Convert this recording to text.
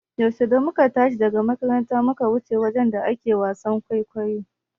Yau da muka tashi daga makaranta muka wuce wajen da ake wasan kwaikwayo.